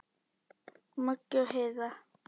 Maggi og Heiða.